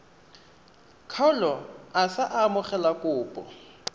kgaolo a sa amogele kopo